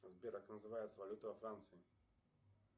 сбер как называется валюта во франции